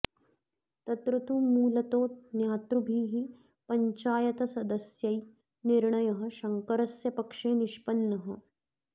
तत्र तु मूलतो ज्ञातृभिः पञ्चायतसदस्यै निर्णयः शङ्करस्य पक्षे निष्पन्नः